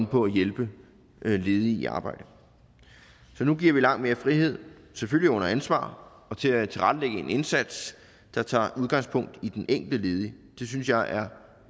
på at hjælpe ledige i arbejde så nu giver vi langt mere frihed selvfølgelig under ansvar til at tilrettelægge en indsats der tager udgangspunkt i den enkelte ledige det synes jeg er